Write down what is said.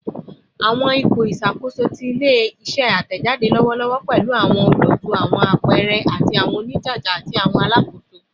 Awọn ipo iṣakoso ti ile-iṣẹ atẹjade lọwọlọwọ pẹlu awọn olootu, awọn apẹẹrẹ, awọn onijaja, ati awọn alakoso